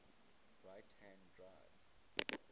right hand drive